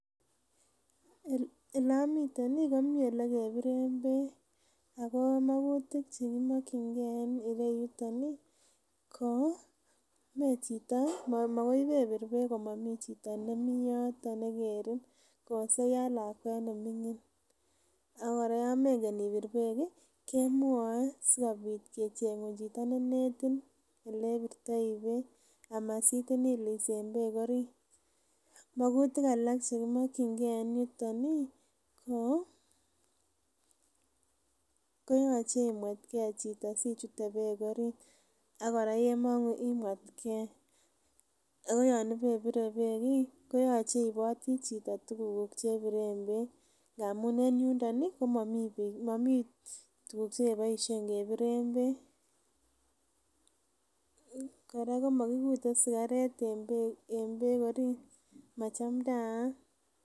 Elamiten ih ko mi ye kebiren beek, Ako mogutik chekimakkyinge en yuton ih, ko moe chito ko makoi ibebir komomiten chito nekerin, koose yoon lakuet neming'in oka kora yomengen ibir bek kemwoe SI kecheng'un chito neinetin elebirtoi beek. Ama sitin ilis en beek orit mogutik alak chekimakkyinge en yuon ih koyoche iimuetke chito sichute beek orit ak kora yemong'ungu imeetke . Ako yoon ibebire beek ih koyoche iiboti chito tuguk chebiren beek amuun momii tuguk cheboisoen kebiren beek kora komogigule sigaret en beek orit machamtaat.